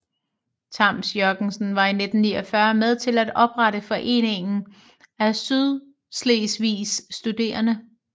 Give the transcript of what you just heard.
Tams Jørgensen var i 1949 med til at oprette Foreningen af Sydslesvigs Studerende